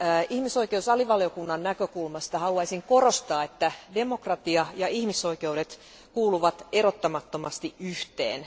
Ihmisoikeuksien alivaliokunnan näkökulmasta haluaisin korostaa, että demokratia ja ihmisoikeudet kuuluvat erottamattomasti yhteen.